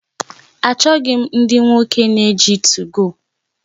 Achọghị m ndị nwoke na-eji 2go